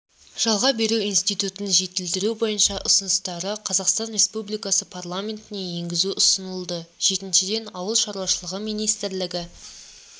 жалға беру институтын жетілдіру бойынша ұсыныстары қазақстан республикасы парламентіне енгізу ұсынылды жетіншіден ауыл шаруашылығы министрлігі